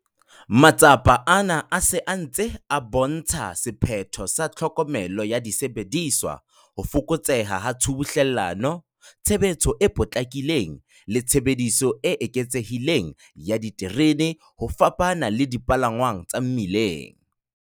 Matsapa ana a se a ntse a bo ntsha sephetho sa tlhokomelo ya disebediswa, ho fokotseha ha tshubuhlellano, tshebetso e potlakileng le tshebediso e eketsehileng ya diterene ho fapana le dipalangwang tsa mmileng.